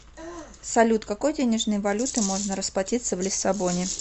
салют какой денежной валютой можно расплатиться в лиссабоне